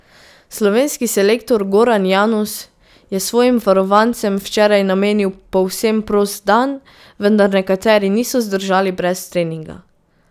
Slovenski selektor Goran Janus je svojim varovancem včeraj namenil povsem prost dan, vendar nekateri niso zdržali brez treninga.